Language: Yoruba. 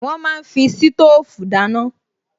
Wọ́n máa ń fi sítóòfù dáná